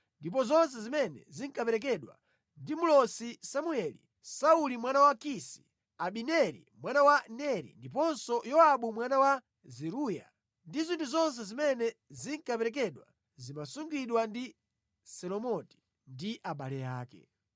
Ndipo zonse zimene zinaperekedwa ndi Mlosi Samueli, Sauli mwana wa Kisi, Abineri mwana wa Neri ndiponso Yowabu mwana wa Zeruya ndi zinthu zonse zimene zinkaperekedwa zimasungidwa ndi Selomiti ndi abale ake.